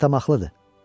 Axmaqlıqdır.